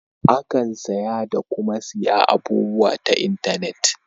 Akan saya da kuma siya abubuwa ta intenet.